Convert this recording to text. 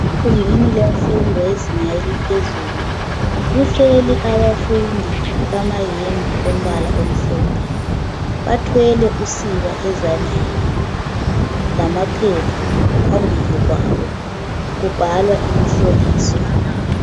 Kungani kuyafundwa kuzinga laphezulu, kuhleli abafundi bamayembe ompala omhlophe. bathwele usiba ezandleni lamaphepha phambili kwabo kubhalwa imihloliso.